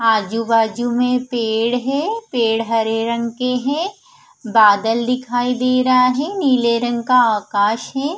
आजू बाजू में पेड़ है पेड़ हरे रंग के है ब बादल दिखाई दे रहा है नील रंग का आकाश है।